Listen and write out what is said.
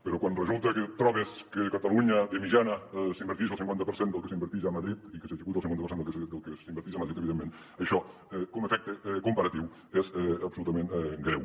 però quan resulta que et trobes que a catalunya de mitjana s’inverteix el cinquanta per cent del que s’inverteix a madrid i que s’executa el cinquanta per cent del que s’executa a madrid evidentment això com a efecte comparatiu és absolutament greu